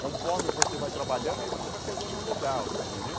Conforme você vai trabalhando, aí você vai pegando o lugar, você entendeu?